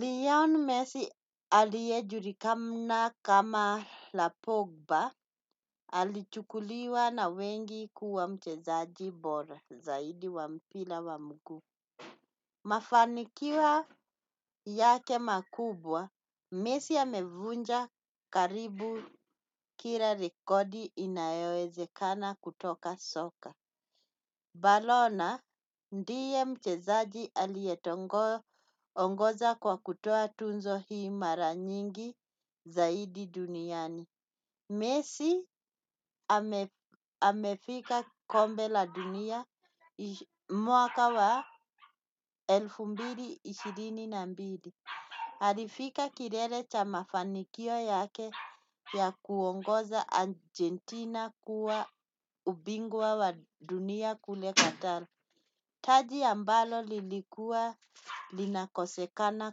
Leorne messi aliye julikana kama lapumba alichukuliwa na wengi kuwa mchezaji bora zaidi wa mguu. Mafanikio yake makubwa, Messi amevunja karibu kila rekodi inayewezekana kutoka soka. Balona ndiye mchezaji aliye ongoza kwa kutoa tunzo hii mara nyingi zaidi duniani. Mesi amefika kombe la dunia mwaka wa elfu mbili na ishirini na mbili alifika kilele cha mafanikio yake ya kuongoza Argentina kuwa ubingwa wa dunia kule katalo. Taji ambalo lilikuwa linakosekana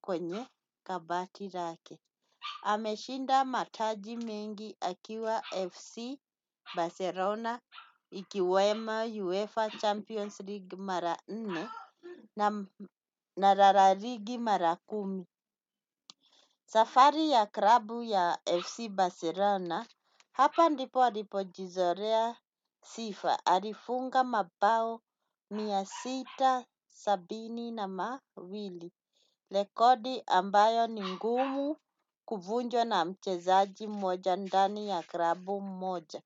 kwenye kabati lake. Ameshinda mataji mengi akiwa FC Barcelona ikiwemo UEFA Champions League mara nne na rara ligi mara kumi. Safari ya klabu ya FC Barcelona, hapa ndipo alipo jizorea tifa alifunga mabao mia sita na sabini na mbili rekodi ambayo ni ngumu kuvunjwa na mchezaji mmoja ndani ya klabu moja.